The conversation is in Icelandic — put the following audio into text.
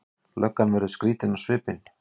Löggan verður skrýtin á svipinn.